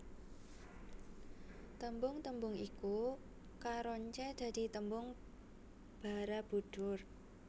Tembung tembung iku karoncé dadi tembung Barabudhur